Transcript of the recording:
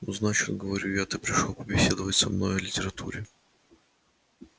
ну значит говорю я ты пришёл побеседовать со мной о литературе